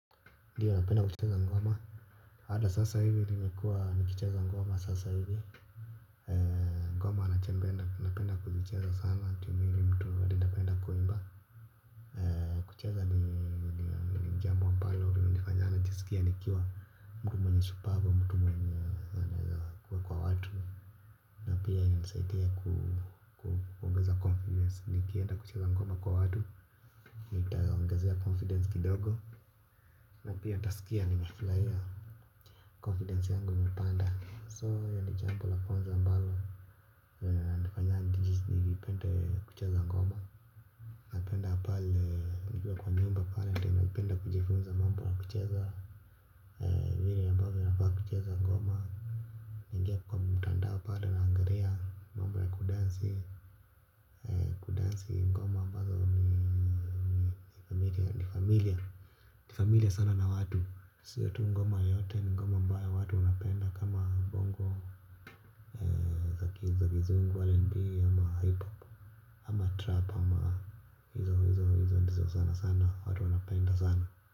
Ndio, napenda kucheza ngoma. Ata sasa hivi nimekuwa nikicheza ngoma sasa hivi. Ngoma nachopenda napenda kulicheza sana ju mimi ni mtu ningependa kuimba. Kucheza ni jambo ambalo limelinifanya nijisikie nikiwa mtu mshupavu. Kwa watu na pia imenisaidia kusaidia kuongeza confidence, nikienda kucheza ngoma kwa watu nitaongezea confidence kidogo na pia nitaskia nimefurahia, confidence yangu imepanda so ni jambo la kwanza ambalo kuimba pale ndio naipenda kujifunza mambo ya michezo vile ambavyo nafaa kucheza ngoma, naingia kwa mtandao pale naangalia mambo ya kudansi, kudansi ngoma ambazo ni very unfamiliar familiar sana na watu. Sio tu ngoma yoyote ni ngoma ambayo watu wapenda kama bongo, za kizungu rnb ama hip hop ama trap.